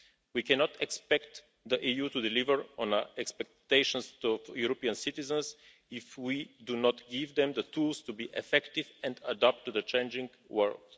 We cannot expect the EU to deliver on expectations to European citizens if we do not give them the tools to be effective and adapt to the changing world.